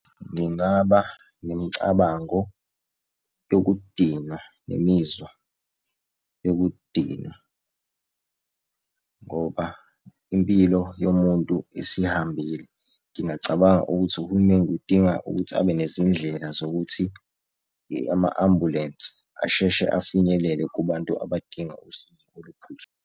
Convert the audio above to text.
Ngingaba nemicabango yokudinwa nemizwa yokudinwa, ngoba impilo yomuntu isihambile. Ngingacabanga ukuthi uhulumeni kudinga ukuthi abe nezindlela zokuthi ama-ambulensi asheshe afinyelele kubantu abadinga usizo .